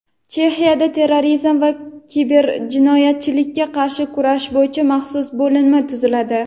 Chexiyada terrorizm va kiberjinoyatchilikka qarshi kurash bo‘yicha maxsus bo‘linma tuziladi.